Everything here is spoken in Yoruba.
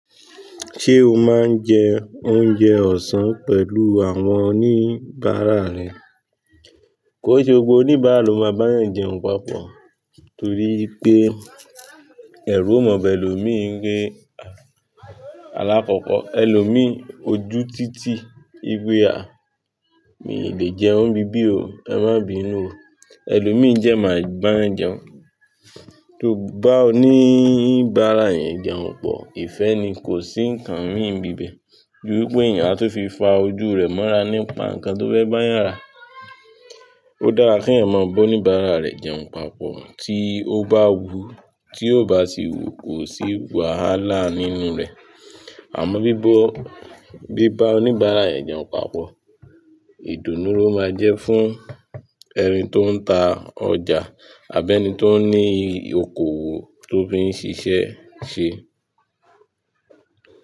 Ṣé o máa ń jẹ oúnjẹ ọ̀sán pẹ̀lú àwọn oníbàárà rẹ? Kò n se gbogbo oníbàárà ló máa bá yàn jẹun papọ̀ torí pé ẹ̀rù o ma ba ẹlòmí wipe Alákọ̀ọ́kọ́ ẹlòmí, ojú títí wipe àh, mi ò lè jẹun n ibíbí o, ẹ má bínú o. Ẹlòmi n jẹ máa bá yàn jẹun. Tó bá oníbàárà yẹn jẹun pọ̀, ìfẹ́ ni, kò sí ǹkan mìí n bíbẹ̀. Ju wipé èèyàn a tun fi fa ojú rẹ̀ mọ́ra nípa nǹkan tó fẹ́ bá yàn ra. Ó dára kí eyan ma ba oníbàárà rẹ̀ jẹun papọ̀ tí ó bá wù ú, tí ò bá sì wù ú kò sí wàhálà nínú rẹ̀. Àmọ́ bí bó bí bá oníbàárà rẹ̀ jẹun papọ̀, ìdùnnú ló máa jẹ́ fún ẹni tó ń ta ọjà àbi ẹni tó ń ní okòwò tó fi ń ṣiṣẹ́ ṣe.